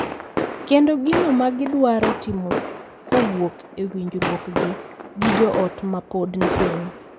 Kendo gino ma gidwaro timo kowuok e winjruokgi gi jo ot ma pod tin.